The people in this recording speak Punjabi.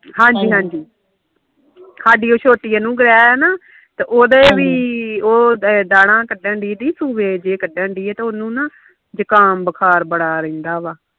ਹਾਂਜੀ ਹਾਂਜੀ ਹਾਡੀ ਉਹ ਛੋਟੀ ਓਹਨੂੰ ਗ੍ਰਹਿ ਆ ਨਾ ਉਹਦੇ ਵੀ ਉਹ ਦਾੜ੍ਹਾ ਕੱਢਣ ਡਾਇ ਸੂਹੇ ਜਿਹੇ ਕੱਢਣ ਦਯਿ ਤੇ ਉਹਨੂੰ ਨਾ ਜ਼ੁਕਾਮ ਬੁਖਾਰ ਬੜਾ ਰਹਿੰਦਾ ਆ